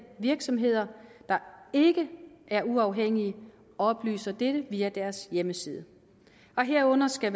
virksomheder der ikke er uafhængige oplyser dette via deres hjemmeside og herunder skal